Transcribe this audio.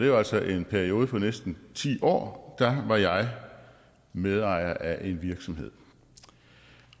jo altså en periode på næsten ti år var jeg medejer af en virksomhed